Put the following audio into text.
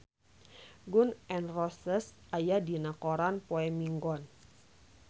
Gun N Roses aya dina koran poe Minggon